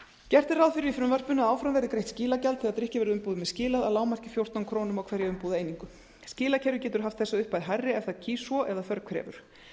gert er ráð fyrir í frumvarpinu að áfram verði greitt skilagjald þegar drykkjarvöruumbúðum er skilað að lágmarki fjórtán krónur á hverja umbúðareiningu skilakerfið getur haft þessa upphæð hærri ef það kýs svo eða þörf krefur